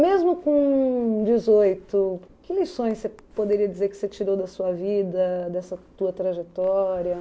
Mesmo com dezoito, que lições você poderia dizer que você tirou da sua vida, dessa tua trajetória?